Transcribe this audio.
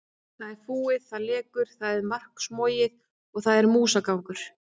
Það er fúið, það lekur, það er maðksmogið og þar er músagangur.